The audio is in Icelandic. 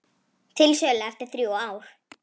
Til sölu eftir þrjú ár